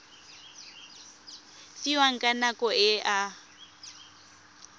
fiwang ka nako e a